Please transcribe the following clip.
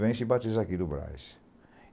Vem e se batiza aqui no Brás.